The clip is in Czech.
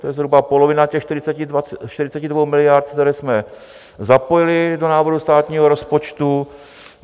To je zhruba polovina těch 42 miliard, které jsme zapojili do návrhu státního rozpočtu.